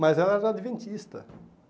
Mas ela era adventista.